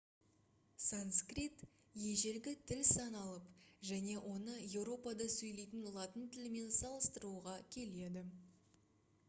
санскрит ежелгі тіл саналып және оны еуропада сөйлейтін латын тілімен салыстыруға келеді